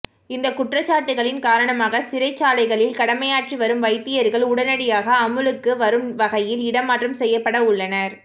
இந்தக் குற்றச்சாட்டுக்களின் காரணமாக சிறைச்சாலைகளில் கடமையாற்றி வரும் வைத்தியர்கள் உடனடியாக அமுலுக்கு வரும் வகையில் இடமாற்றம் செய்யப்பட உள்ளனர்